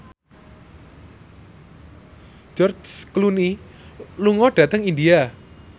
George Clooney lunga dhateng India